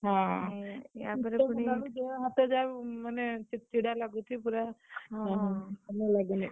ହଁ, ଉଁ ଆ ପରେ ପୁଣି ଶୀତ ହେଲାବେଳକୁ ଦେହହାତ ଯାହା ମାନେ ଚିଡଚିଡ଼ା ଲାଗୁଛି, ଅଁ ହଁ, ଭଲ ଲାଗୁନି।